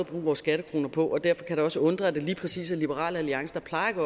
bruge vores skattekroner på derfor kan det også undre at det lige præcis er liberal alliance der plejer at